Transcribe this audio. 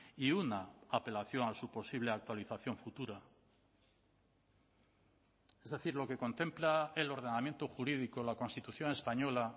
y una apelación a su posible actualización futura es decir lo que contempla el ordenamiento jurídico la constitución española